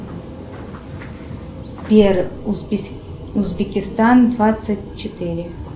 сбер узбекистан двадцать четыре